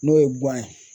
N'o ye ye